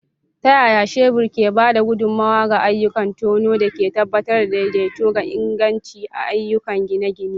Ta yaya shebur ke ba da gudummawa ga ayyukan tono da ke tabbatar da daidaito da inganci a ayyukan gine-gine?